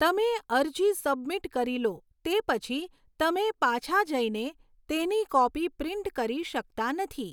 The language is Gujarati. તમે અરજી સબમિટ કરી લો તે પછી, તમે પાછા જઈને તેની કૉપી પ્રિન્ટ કરી શકતા નથી.